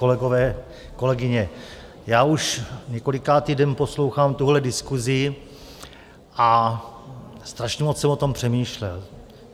Kolegové, kolegyně, já už několikátý den poslouchám tuhle diskusi a strašně moc jsem o tom přemýšlel.